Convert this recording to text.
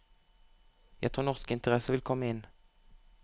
Jeg tror norske interesser vil komme inn.